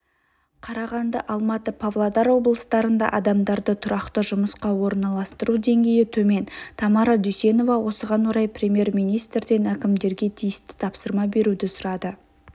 қарағанды алматы павлодар облыстарында адамдарды тұрақты жұмысқа орналастыру деңгейі төмен тамара дүйсенова осыған орай премьер-министрден әкімдерге тиісті тапсырма беруді сұрады